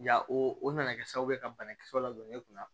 Ya o o nana kɛ sababu ye ka banakisɛw ladon e kunna